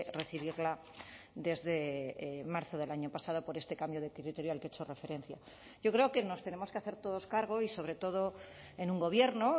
recibirla desde marzo del año pasado por este cambio de criterio al que he hecho referencia yo creo que nos tenemos que hacer todos cargo y sobre todo en un gobierno